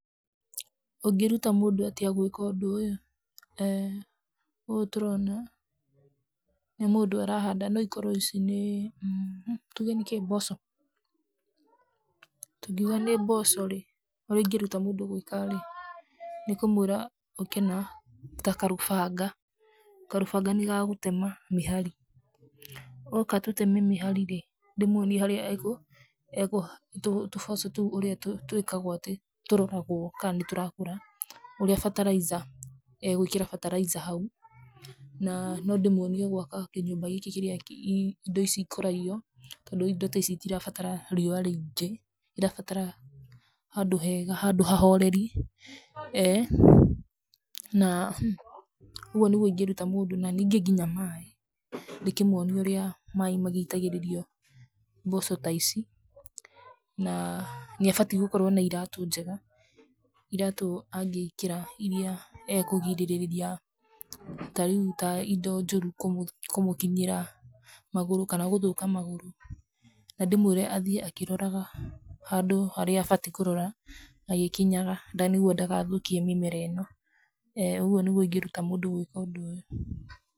Ũngĩruta mũndũ atĩa gwĩka ũndũ ũyũ? Ũũ tũronanĩ mũndũ ũrahanda no ikorwo ici nĩĩ, tũge nĩkĩĩ? Mboco. Tũngĩuga nĩ mboco rĩ, ũrga ndigĩruta mũndũ gwĩka rĩ, nĩ kũmwĩra ũkĩ na ta karũbanga. Karũbanga nĩ ga gũtema mĩhari. Oka tũteme mĩhari rĩ, ndĩmuonie harĩa ekũ, tũboco tũu twĩkagwo atĩ, ũtia tũroragwo ka nĩ tũrakũra. Uria fertilizer egwĩkĩra fertilizer hau, na no ndĩ muonie gwaka kĩnyũmba gĩkĩ kĩria indo ici ikũragio to rĩu indo ta ici citirabatara riũa rĩingĩ irabatara handũ hega, handũ hahoreri. Na ũguo nĩgu ndingĩrũta mũndũ na ninge nginya maaĩ ndĩkĩmuonie ũria maaĩ magĩitagĩrĩrio mboco ta ici, na nĩ abatie gũkorwo na iratũ njega, iratũ angĩkĩra iria akũgirĩrĩria ta rĩu indo njũru kũmũkinyĩra magũrũ kana gũthũka magũrũ, na ndĩmwĩre athiĩ akĩroraga handũ harĩa abatie kũrora agĩkinyaga nĩguo ndagathũkie mĩmera ino ũguo nĩguo ingĩruta mũndũ gwĩka ũndũ ũyũ.